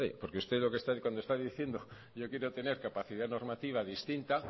porque usted cuando está diciendo yo quiero tener capacidad normativa distinta